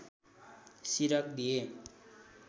सिरक दिए